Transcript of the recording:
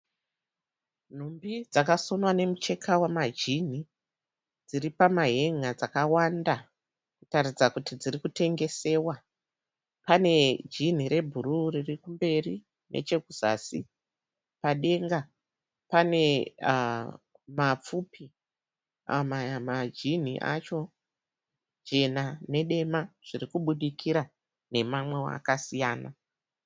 Nhumbi dzakasonwa nemucheka wemajini. Dziri pamahen'a dzakawanda kutaridza kuti dziri kutengesewa. Pane jini rebhuruu riri kumberi nechekuzasi. Padenga pane mapfupi. Majini acho jena nedema zviri kubudikira nemamwewo akasiyana.